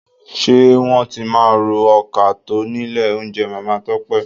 Ṣé wọ́n tí máa ro ọkà tọ́ nílé oúnjẹ Màmá Tọ́pẹ́?